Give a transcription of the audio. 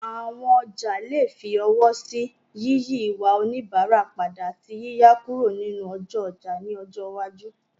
Àwọn ọjà lè fi ọwọ́ sí yíyí ìwà oníbàárà padà, àti yíyà kúrò nínú ọjọ́ ọjà ní ọjọ́ iwájú.